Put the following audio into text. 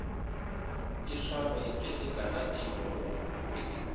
e swarwe ke lekalatiro go